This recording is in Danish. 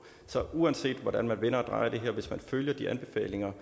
så uanset hvordan man vender og drejer det her hvis man følger de anbefalinger